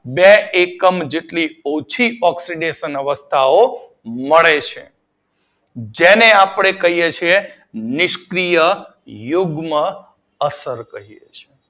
બે એકમ જેટલી ઓછી ઓક્સીડેશન અવસ્થા મળે છે જેને નિષ્ક્રીય યુગ્મ અસર કહીએ છીએ.